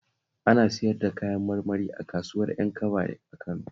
Ana siyar da kayan marmari s kasuwar Ƴankaba a Kano